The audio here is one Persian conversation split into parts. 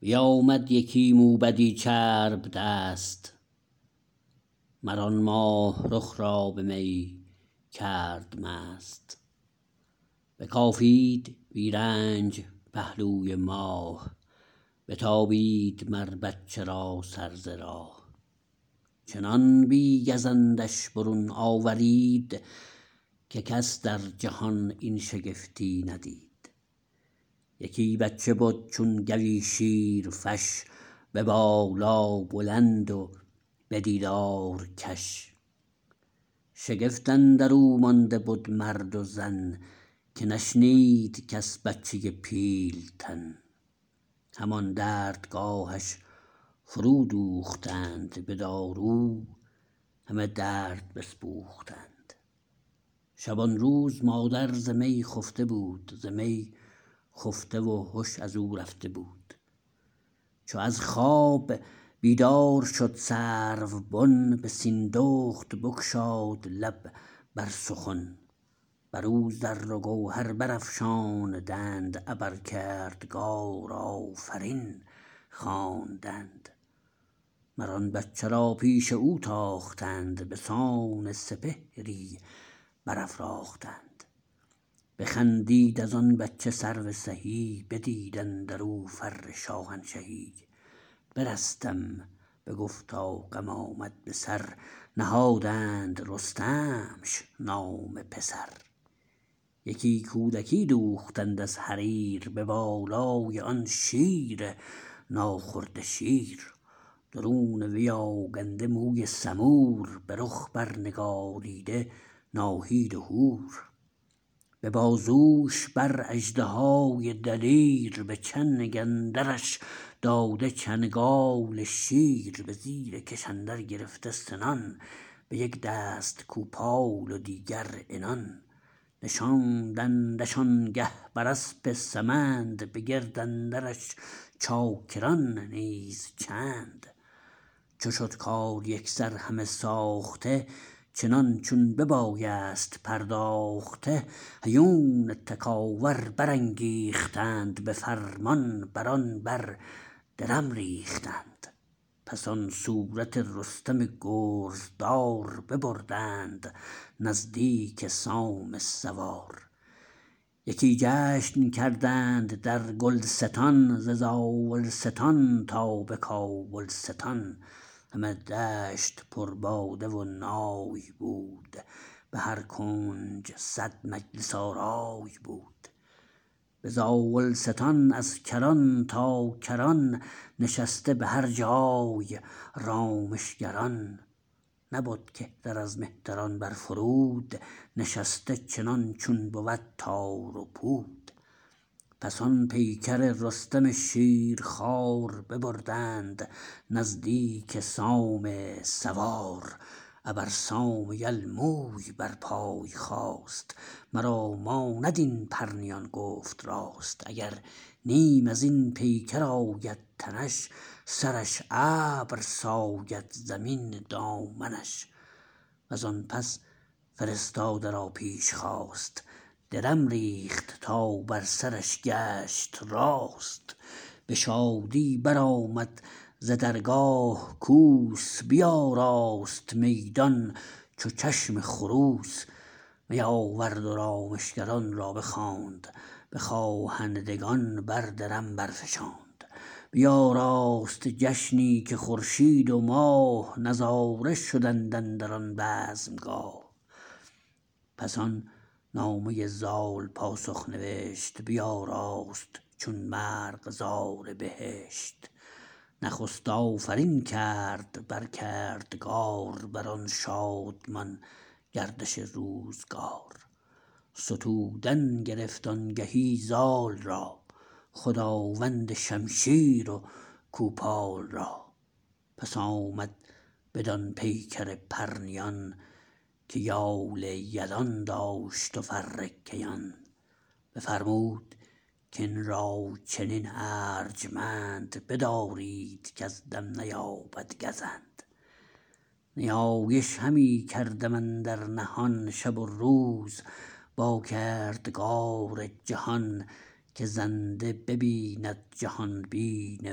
بیامد یکی موبدی چرب دست مر آن ماه رخ را به می کرد مست بکافید بی رنج پهلوی ماه بتابید مر بچه را سر ز راه چنان بی گزندش برون آورید که کس در جهان این شگفتی ندید یکی بچه بد چون گوی شیرفش به بالا بلند و به دیدار کش شگفت اندرو مانده بد مرد و زن که نشنید کس بچه پیل تن همان دردگاهش فرو دوختند به دارو همه درد بسپوختند شبانروز مادر ز می خفته بود ز می خفته و هش ازو رفته بود چو از خواب بیدار شد سرو بن به سیندخت بگشاد لب بر سخن بر او زر و گوهر برافشاندند ابر کردگار آفرین خواندند مر آن بچه را پیش او تاختند به سان سپهری برافراختند بخندید از آن بچه سرو سهی بدید اندرو فر شاهنشهی برستم بگفتا غم آمد به سر نهادند رستمش نام پسر یکی کودکی دوختند از حریر به بالای آن شیر ناخورده شیر درون وی آگنده موی سمور به رخ بر نگاریده ناهید و هور به بازوش بر اژدهای دلیر به چنگ اندرش داده چنگال شیر به زیر کش اندر گرفته سنان به یک دست کوپال و دیگر عنان نشاندندش آنگه بر اسپ سمند به گرد اندرش چاکران نیز چند چو شد کار یکسر همه ساخته چنان چون ببایست پرداخته هیون تکاور برانگیختند به فرمان بران بر درم ریختند پس آن صورت رستم گرزدار ببردند نزدیک سام سوار یکی جشن کردند در گلستان ز زاولستان تا به کابلستان همه دشت پر باده و نای بود به هر کنج صد مجلس آرای بود به زاولستان از کران تا کران نشسته به هر جای رامشگران نبد کهتر از مهتران بر فرود نشسته چنان چون بود تار و پود پس آن پیکر رستم شیرخوار ببردند نزدیک سام سوار ابر سام یل موی بر پای خاست مرا ماند این پرنیان گفت راست اگر نیم ازین پیکر آید تنش سرش ابر ساید زمین دامنش وزان پس فرستاده را پیش خواست درم ریخت تا بر سرش گشت راست به شادی برآمد ز درگاه کوس بیاراست میدان چو چشم خروس می آورد و رامشگران را بخواند به خواهندگان بر درم برفشاند بیاراست جشنی که خورشید و ماه نظاره شدند اندران بزمگاه پس آن نامه زال پاسخ نوشت بیاراست چون مرغزار بهشت نخست آفرین کرد بر کردگار بران شادمان گردش روزگار ستودن گرفت آنگهی زال را خداوند شمشیر و کوپال را پس آمد بدان پیکر پرنیان که یال یلان داشت و فر کیان بفرمود کین را چنین ارجمند بدارید کز دم نیابد گزند نیایش همی کردم اندر نهان شب و روز با کردگار جهان که زنده ببیند جهانبین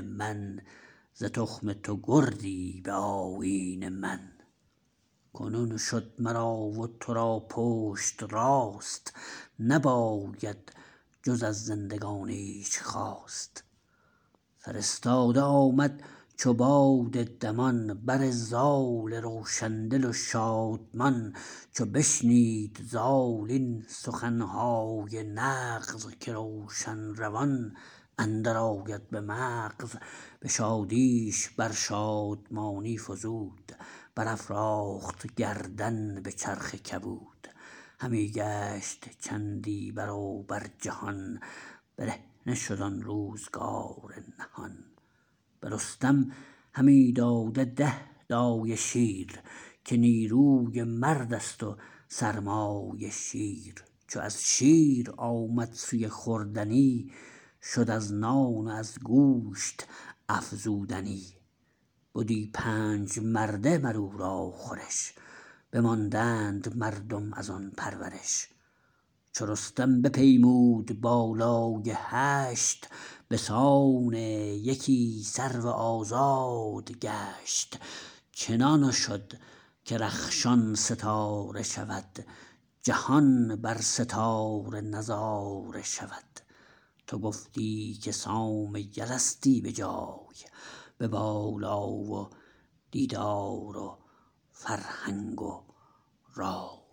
من ز تخم تو گردی به آیین من کنون شد مرا و ترا پشت راست نباید جز از زندگانیش خواست فرستاده آمد چو باد دمان بر زال روشن دل و شادمان چو بشنید زال این سخنهای نغز که روشن روان اندر آید به مغز به شادیش بر شادمانی فزود برافراخت گردن به چرخ کبود همی گشت چندی بروبر جهان برهنه شد آن روزگار نهان به رستم همی داد ده دایه شیر که نیروی مردست و سرمایه شیر چو از شیر آمد سوی خوردنی شد از نان و از گوشت افزودنی بدی پنج مرده مراو را خورش بماندند مردم ازان پرورش چو رستم بپیمود بالای هشت بسان یکی سرو آزاد گشت چنان شد که رخشان ستاره شود جهان بر ستاره نظاره شود تو گفتی که سام یلستی به جای به بالا و دیدار و فرهنگ و رای